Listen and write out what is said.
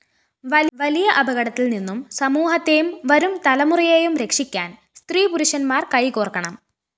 വലിയ അപകടത്തില്‍നിന്നും സമൂഹത്തേയും വരും തലമുറയേയും രക്ഷിക്കാന്‍ സ്ത്രീപുരുഷന്മാര്‍ കൈകോര്‍ക്കണം